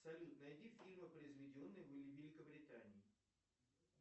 салют найди фильмы произведенные в великобритании